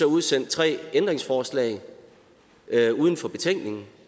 udsendt tre ændringsforslag uden for betænkningen